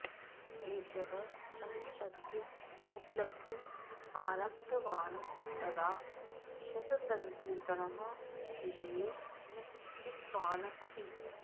एषः सङ्गीतस्य उपलब्धिम् आरब्धवान् तदा शततन्त्रिणः विषये न चिन्तितवान् अपि